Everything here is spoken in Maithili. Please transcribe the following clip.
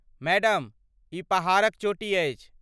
मैडम, ई पहाड़क चोटी अछि।